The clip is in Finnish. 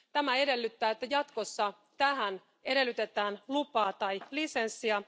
Tämä edellyttää, että jatkossa tähän edellytetään lupaa tai lisenssiä.